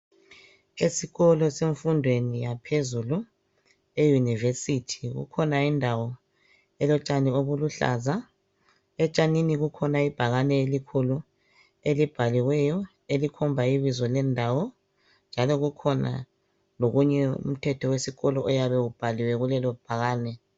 Esikolo semfundweni yaphezulu, eyunivesithi. Kukhona indawo elotshani obuluhlaza. Etshanini kukhona ibhakane elikhulu, elibhaliweyo, elikhomba ibizo lendawo, njalo kukhona lomthetho wesikolo obhalwe kulelo ibhakane.